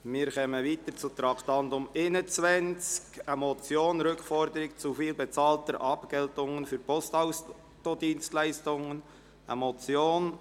Wir kommen zum Traktandum 21, «Rückforderung zu viel bezahlter Abgeltungen für Postauto-Dienstleistungen», eine Motion.